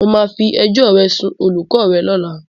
Mo máa fi ẹjọ́ ẹ sún olùkọ́ rẹ lọ́la.